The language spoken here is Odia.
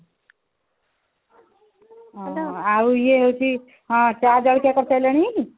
ଆଉ ଇଏ ହଉଛି ଚା ଜଳଖିଆ କରିସାରିଲଣି